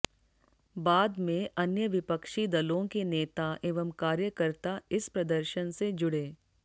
बाद में अन्य विपक्षी दलों के नेता एवं कार्यकर्ता इस प्रदर्शन से जुड़े